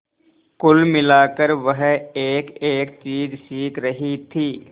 कुल मिलाकर वह एकएक चीज सीख रही थी